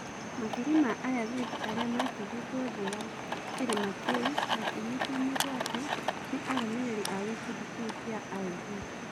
Makiri ma-Ayazidi arĩa matĩgĩtwo thĩ wa kĩrĩma kĩũ makĩnyitwo migwate nĩ-arũmĩrĩri a gĩkundi kĩu kĩa IB.